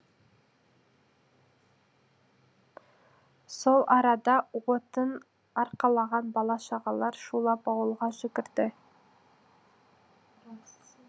сол арада отын арқалаған бала шағалар шулап ауылға жүгірді